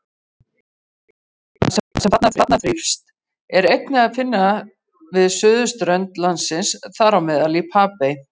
Tegundina, sem þarna þrífst, er einnig að finna við suðausturströnd landsins, þám í Papey.